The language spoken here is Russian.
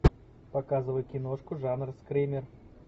показывай киношку жанр скример